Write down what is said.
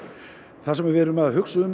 það sem við erum að hugsa um